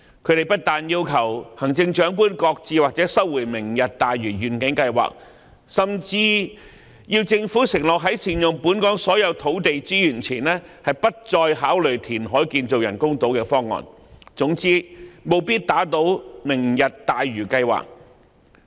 他們不但要求行政長官擱置或收回"明日大嶼"計劃，甚至要求政府承諾在善用本港所有土地資源前，不再考慮填海建造人工島的方案，總之務必要打倒"明日大嶼"計劃。